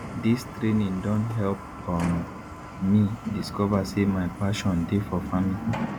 dis training don help um me discover say my pashon dey for farming